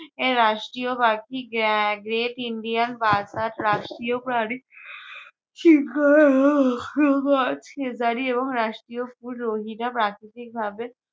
এর রাষ্ট্রীয় পাখি গ্যা~ গ্রেট ইন্ডিয়ান রাষ্ট্রীয় প্রাণী এবং রাষ্ট্রীয় ফুল প্রাকৃতিকভাবে